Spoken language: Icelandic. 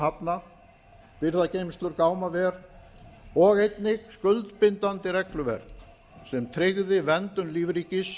hafna birgðageymslur gámaver og einnig skuldbindandi regluverk sem tryggði verndun lífríkis